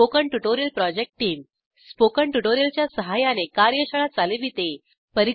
spoken tutorial project team spoken tutorial च्या सहाय्याने कार्यशाळा चालविते